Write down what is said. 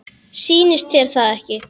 Sýnist þér það ekki?